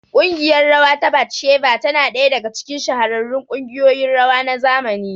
ƙungiyar rawa ta Batsheva tana ɗaya daga cikin shahararrun kungiyoyin rawa na zamani.